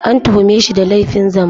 An tuhume shi da laifin zambo